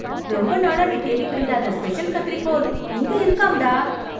ரொம்ப நாளா நீ தேடிட்டு இருந்த அந்த ஸ்பெஷல் கத்திரிக்கோல் இங்கே இருக்காம் டா!